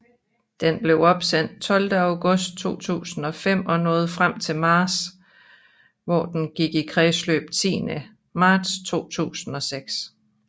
Den blev opsendt 12 august 2005 og nåede frem til Mars hvor den gik i kredsløb 10 marts 2006